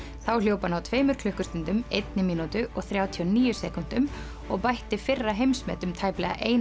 þá hljóp hann á tveimur klukkustundum einni mínútu og þrjátíu og níu sekúndum og bætti fyrra heimsmet um tæplega eina